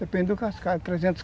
Depende do cascalho, por exemplo.